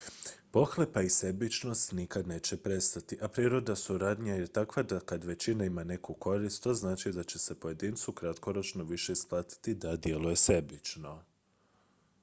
pohlepa i sebičnost nikad neće nestati a priroda suradnje je takva da kad većina ima neku korist to znači da će se pojedincu kratkoročno više isplatiti da djeluje sebično